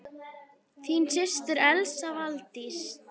Þín systir, Elsa Valdís.